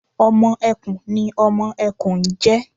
ọmọ ẹkùn ni ọmọ ẹkùn n jẹ